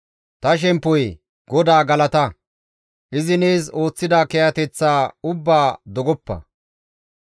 Ta shemppoyee! GODAA galata! Izi nees ooththida kiyateththa ubbaa dogoppa.